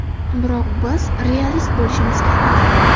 Biroq biz realist bo‘lishimiz kerak.